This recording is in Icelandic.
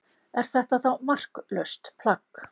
Er þetta þá marklaust plagg?